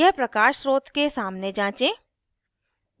यह प्रकाश स्रोत के सामने जाँचें